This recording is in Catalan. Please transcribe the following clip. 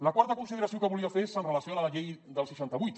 la quarta consideració que volia fer és amb relació a la llei del seixanta vuit